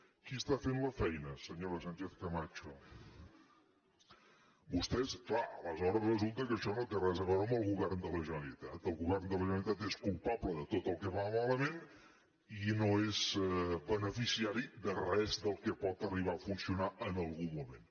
qui està fent la feina senyora sánchez camacho vostès clar aleshores resulta que això no té res a veure amb el govern de la generalitat el govern de la generalitat és culpable de tot el que va malament i no és beneficiari de res del que pot arribar a funcionar en algun moment